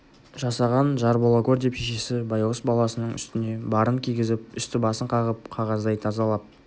жасаған жар бола гөр деп шешесі байғұс баласының үстіне барын кигізіп үсті-басын қағып қағаздай тазалап